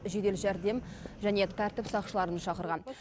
жедел жәрдем және тәртіп сақшыларын шақырған